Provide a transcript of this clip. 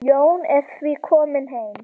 Jón er því kominn heim.